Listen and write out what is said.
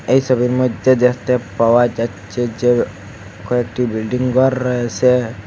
এই ছবির মধ্যে দেখতে পাওয়া যাচ্ছে যে কয়েকটি বিল্ডিং ঘর রয়েছে।